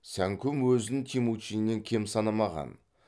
сәңкүм өзін темучиннен кем санамаған